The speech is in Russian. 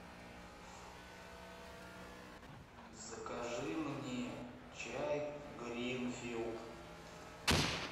закажи мне чай гринфилд